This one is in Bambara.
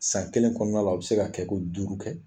San kelen kɔnɔna u bɛ se ka kɛ ko duru kɛ!